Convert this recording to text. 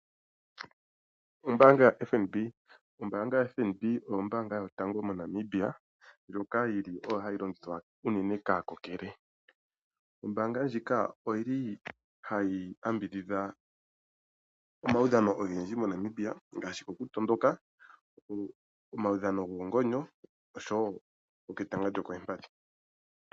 Ombaanga yoFNB. Ombaanga yoFNB oyo ombaanga yotango moNamibia ndjoka yili oyo hayi longithwa unene kaakokele. Ombaanga ndjika oyili hayi yambidhidha omaudhano ogendji moNamibia ngaashi oku tondoka, omaudhano goongonyo osho goketanga lyokoompadhi.